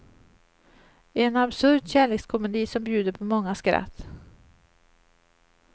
En absurd kärlekskomedi som bjuder på många skratt.